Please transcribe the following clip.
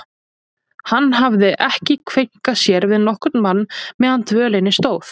Hann hafði ekki kveinkað sér við nokkurn mann meðan á dvölinni stóð.